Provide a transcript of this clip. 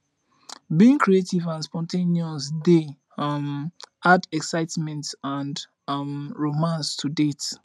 being creative and spontaneous dey um add excitement and um romance to dates